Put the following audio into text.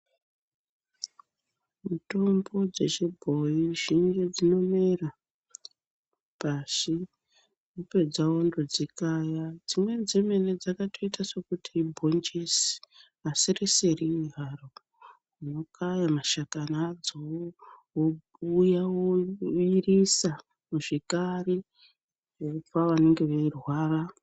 Mitombo dzechibhoyi zhinji dzinomera, pashi wopedza wondodzikaya. Dzimweni dzemene dzakatoita sekuti ibhonjisi asi risiri haro. Wokaya mashakani adzowo wokuya, woisira muzvikari wopa vanenge veirwara.